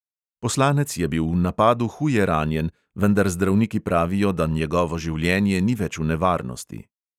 Poslanec je bil v napadu huje ranjen, vendar zdravniki pravijo, da njegovo življenje ni več v nevarnosti.